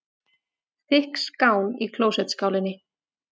Þykk skán í klósettskálinni.